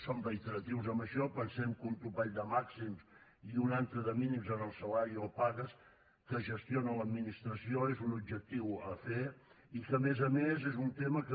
som reiteratius en això pensem que un topall de màxims i un altre de mínims en el salari o pagues que gestiona l’administració és un objectiu a fer i que a més a més és un tema que